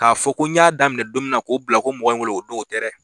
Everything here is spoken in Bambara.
K'a fɔ ko n y'a daminɛ don mina k'u bila ko mɔgɔ ye wele o don o tɛ dɛ.